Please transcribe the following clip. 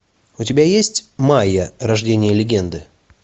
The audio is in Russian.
у тебя есть майя рождение легенды